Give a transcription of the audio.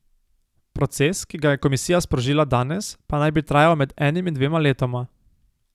Proces, ki ga je komisija sprožila danes, pa naj bi trajal med enim in dvema letoma.